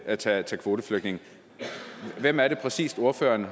at tage kvoteflygtninge hvem er det præcist ordføreren